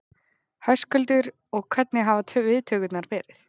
Höskuldur: Og hvernig hafa viðtökurnar verið?